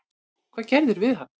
Hvað gerðirðu við hann!